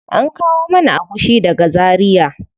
An kawo mana agushi daga zaria.